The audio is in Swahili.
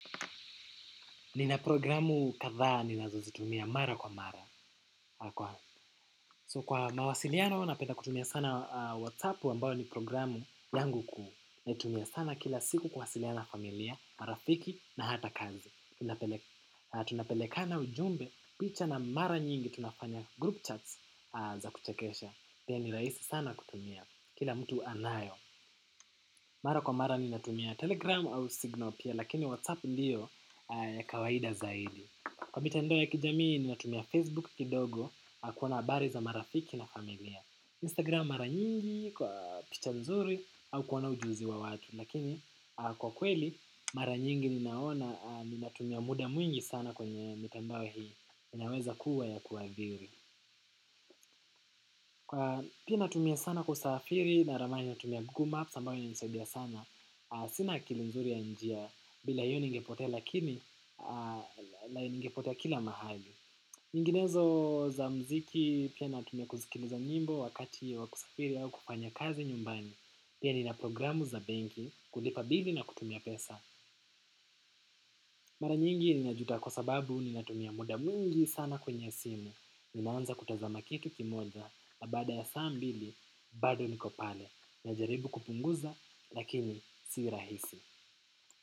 Nina programu kadha ninazozitumia mara kwa mara So kwa mawasiliano napenda kutumia sana WhatsApp ambayo ni programu yangu kuu. Natumia sana kila siku kuwasiliana familia, marafiki na hata kazi. Tunapelekana ujumbe, picha na mara nyingi, tunafanya group chats za kuchekesha pia ni rahisi sana kutumia, kila mtu anayo. Mara kwa mara ninatumia Telegram au Signal pia lakini WhatsApp ndiyo kawaida zaidi. Kwa mitandao ya kijamii ninatumia Facebook kidogo kuona habari za marafiki na familia. Instagram mara nyingi kwa picha mzuri au kuona ujuzi wa watu. Lakini kwa kweli mara nyingi ninaona ninatumia muda mwingi sana kwenye mitandao hii. Inaweza kuwa ya kuathiri. Kwa pia natumia sana kwa usafiri na ramani natumia google maps ambayo inanisaidia sana. Sina akili mzuri ya njia bila hiyo ningepote lakini ah ningepote kila mahali. Nyinginezo za muziki pia natumia kusikiliza nyimbo wakati ya wa kusafiri au kufanya kazi nyumbani. Pia nina programu za benki kulipa bili na kutumia pesa. Mara nyingi ninajuta kwa sababu ninatumia muda mwingi sana kwenye simu. Ninaanza kutazama kitu kimoja na baada ya saa mbili bado niko pale. Najaribu kupunguza lakini si rahisi.